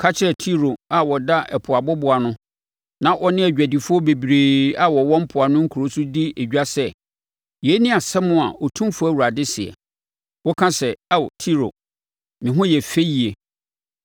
Ka kyerɛ Tiro a ɔda ɛpo aboboano, na ɔne adwadifoɔ bebree a wɔwɔ mpoano nkuro so di edwa sɛ, yei ne asɛm a Otumfoɔ Awurade seɛ: “ ‘Woka sɛ, Ao Tiro, “Me ho yɛ fɛ yie.”